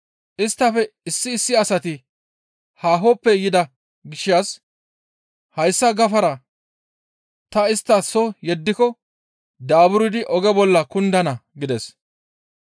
Isttafe issi issi asati haahoppe yida gishshas hayssa gafara ta istta soo yeddiko daaburdi oge bolla kundana» gides.